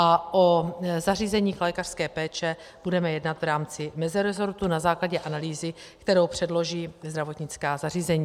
A o zařízeních lékařské péče budeme jednat v rámci meziresortu na základě analýzy, kterou předloží zdravotnická zařízení.